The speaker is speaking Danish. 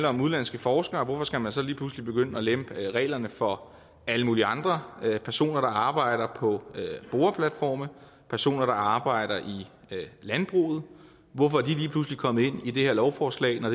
om udenlandske forskere hvorfor skal man så lige pludselig begynde at lempe reglerne for alle mulige andre personer der arbejder på boreplatforme personer der arbejder i landbruget hvorfor er de lige pludselig kommet ind i det her lovforslag når